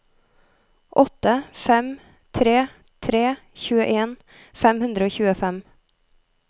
åtte fem tre tre tjueen fem hundre og tjuefem